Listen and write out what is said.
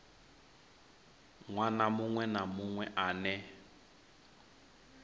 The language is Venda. ṅwana muṅwe na muṅwe ane